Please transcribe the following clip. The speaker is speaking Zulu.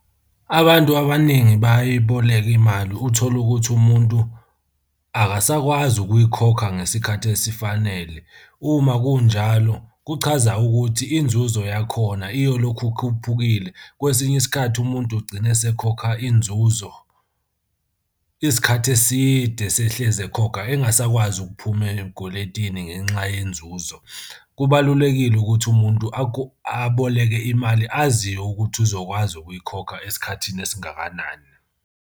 Abantu abaningi bayayiboleka imali uthole ukuthi umuntu akasakwazi ukuyikhokha ngesikhathi esifanele. Uma kunjalo kuchaza ukuthi inzuzo yakhona iyolokhu ikhuphukile. Kwesinye isikhathi umuntu ugcine esekhokha inzuzo isikhathi eside esehlezi ekhokha engasakwazi ukuphuma ey'kweletini ngenxa yenzuzo. Kubalulekile ukuthi umuntu aboleke imali aziyo ukuthi uzokwazi ukuyikhokha esikhathini esingakanani.